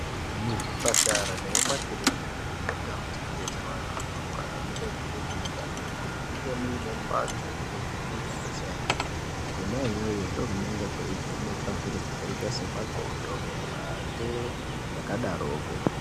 Muzvipatara nemumakiliniki nemundau dzinobetsera vantu vanorwara munokurudzirwa maningi kuti munge mune mbatso yekuvheneka kwesainzi kona iyoyo ndokunenge kweivhenekwa zviro zvakaita semakondo mate zvakadaroko.